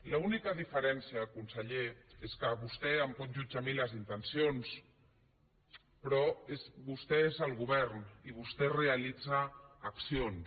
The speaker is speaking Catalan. l’única diferència conseller és que vostè em pot jutjar a mi les intencions però vostè és el govern i vostè realitza accions